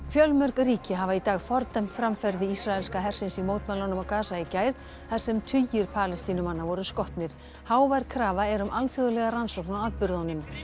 fjölmörg ríki hafa í dag fordæmt framferði ísraelskra hersins í mótmælunum á í gær þar sem tugir Palestínumanna voru skotnir hávær krafa er um alþjóðlega rannsókn á atburðunum